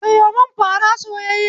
Sayo mun fara soyayye